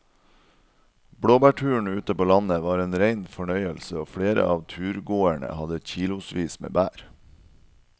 Blåbærturen ute på landet var en rein fornøyelse og flere av turgåerene hadde kilosvis med bær.